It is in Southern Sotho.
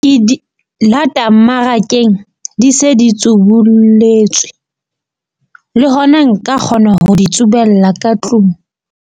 Ke di lata mmarakeng, di se di tsubulletswe, le hona nka kgona ho di tsubella ka tlung.